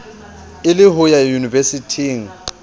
e le ho ya yunivesithing